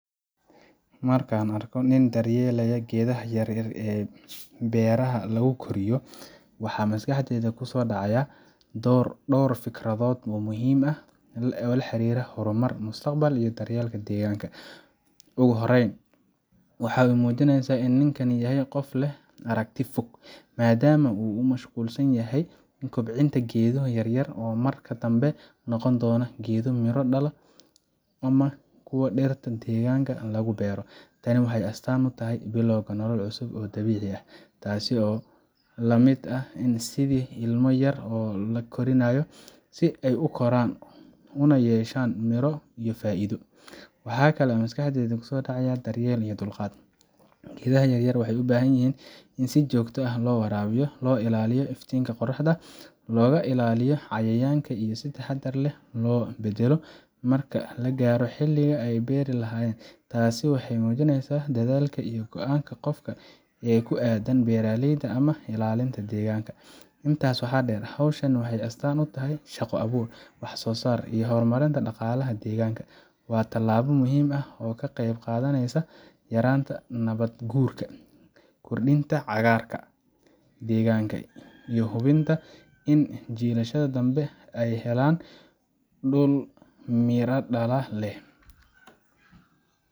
Marka aan arko nin daryeelaya geedaha yaryar ee beeraha lagu koriyo , waxa maskaxdayda ku soo dhacaya dhowr fikradood muhiim ah oo la xiriira horumar, mustaqbal, iyo daryeel deegaanka. Ugu horreyn, waxay muujinaysaa in ninkani yahay qof leh aragti fog, maadaama uu ku mashquulsan yahay kobcinta geedo yaryar oo marka dambe noqon doona geedo miro dhala ama kuwa dhirta deegaanka lagu beero. Tani waxay astaan u tahay bilowga nolol cusub oo dabiici ah, taas oo la mid ah sidii ilmo yar oo la korinayo si uu u koran una yeesho miro iyo faa’iido. Waxa kale oo maskaxda ku soo dhacaya daryeel iyo dulqaad. Geedaha yaryar waxay u baahan yihiin in si joogto ah loo waraabiyo, loo ilaaliyo iftiinka qorraxda, looga ilaaliyo cayayaanka, iyo in si taxaddar leh loo beddelo marka la gaaro xilligii la beeri lahaa. Taasi waxay muujinaysaa dadaalka iyo go’aanka qofka ee ku aaddan beeralayda ama ilaalinta deegaanka. Intaa waxaa dheer, hawshan waxay astaan u tahay shaqo abuur, wax soosaar iyo horumarinta dhaqaalaha deegaanka. Waa tallaabo muhiim ah oo ka qeyb qaadaneysa yaraynta nabaad guurka, kordhinta cagaarsha deegaanka, iyo hubinta in jiilasha dambe ay helaan dhul miradhal leh.